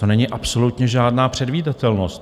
To není absolutně žádná předvídatelnost.